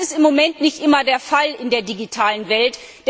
Das ist im Moment nicht immer der Fall in der digitalen Welt.